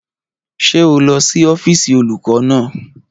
Ṣé o lọ sí ọ́fíìsì olùkọ́ náà?